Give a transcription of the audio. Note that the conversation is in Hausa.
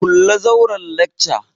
Kulle zauren lacca!